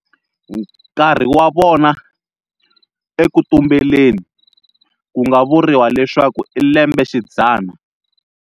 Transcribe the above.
Nkarhi wa vona "eku tumbeleni" ku nga vuriwa leswaku i lembe xidzana.